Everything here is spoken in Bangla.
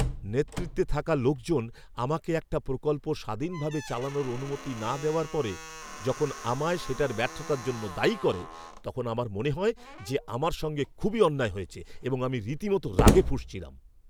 নেতৃত্বে থাকা লোকজন আমাকে একটা প্রকল্প স্বাধীনভাবে চালানোর অনুমতি না দেওয়ার পরে যখন আমায় সেটার ব্যর্থতার জন্য দায়ী করে, তখন আমার মনে হয় যে আমার সঙ্গে খুবই অন্যায় হয়েছে এবং আমি রীতিমতো রাগে ফুঁসছিলাম।